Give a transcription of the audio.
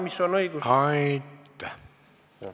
Aitäh!